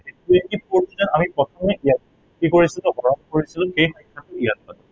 twenty four ক আমি প্ৰথমতেই ইয়াক কি কৰিছিলো, হৰণ কৰিছিলো, এই সংখ্য়াটো ইয়াত পাতিছিলো